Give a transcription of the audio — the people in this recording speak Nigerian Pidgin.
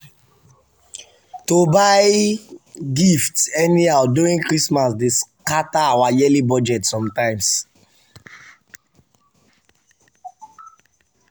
to buy gift anyhow during christmas dey scatter our yearly budget sometimes.